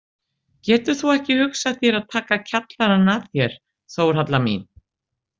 Getur þú ekki hugsað þér að taka kjallarann að þér, Þórhalla mín?